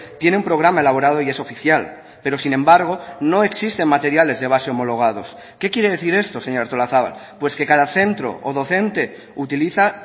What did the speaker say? tiene un programa elaborado y es oficial pero sin embargo no existen materiales de base homologados qué quiere decir esto señora artolazabal pues que cada centro o docente utiliza